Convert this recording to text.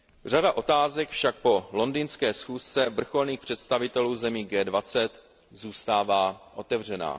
Řada otázek však po londýnské schůzce vrcholných představitelů zemí G20 zůstává otevřená.